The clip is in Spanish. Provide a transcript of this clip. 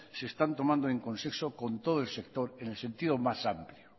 se están tomando en contexto con todo el sector en el sentido más amplio